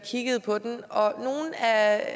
her